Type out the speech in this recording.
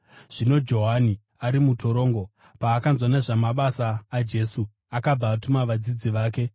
Zvino Johani ari mutorongo, paakanzwa nezvamabasa aJesu, akabva atuma vadzidzi vake